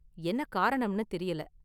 என்ன காரணம்னு தெரியல.